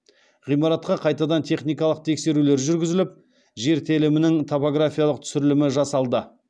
ғимаратқа қайтадан техникалық тексерулер жүргізіліп жер телімінің топографиялық түсірілімі жасалды